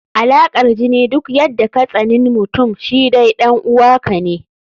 Alaƙar jini, duk yadda katsaninmutum shi dai ɗan uwa ka ne.